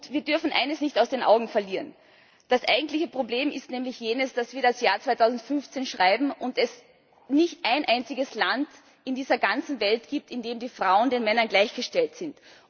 Wir dürfen eines nicht aus den Augen verlieren Das eigentliche Problem ist nämlich, dass wir das Jahr 2015 schreiben und es nicht ein einziges Land auf dieser ganzen Welt gibt, in dem die Frauen den Männern gleichgestellt sind.